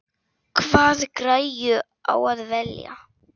Hvaða græju á að velja?